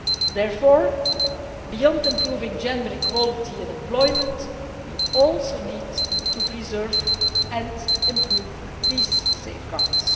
Therefore, beyond improving gender equality in employment, we also need to preserve and improve these safeguards.